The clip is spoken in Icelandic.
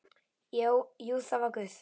Jú, það var Guð.